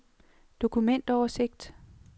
dokumentoversigt